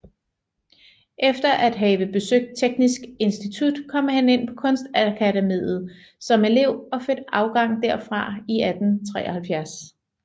Efter at have besøgt Teknisk Institut kom han ind på Kunstakademiet som elev og fik afgang derfra i 1873